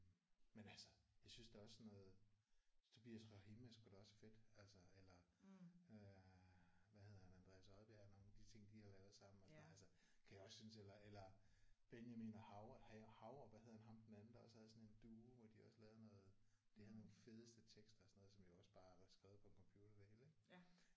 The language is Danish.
Men altså jeg synes da også sådan noget Tobias Rahim er sgu da også fedt altså eller øh hvad hedder han Andreas Odbjerg nogle af de ting de har lavet sammen og sådan noget altså kan jeg også synes. Eller eller Benjamin Hav og hvad hedder han ham den anden der også havde sådan en duo hvor de også lavede noget? De havde nogle fedeste tekster og sådan noget som jo også bare var skrevet på en computer det hele ik